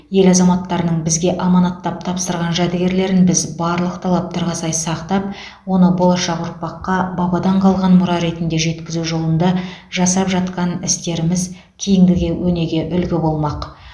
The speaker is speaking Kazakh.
ел азаматтарының бізге аманаттап тапсырған жәдігерлерін біз барлық талаптарға сай сақтап оны болашақ ұрпаққа бабадан қалған мұра ретінде жеткізу жолында жасап жатқан істеріміз кейінгіге өнеге үлгі болмақ